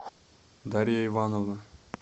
дарья ивановна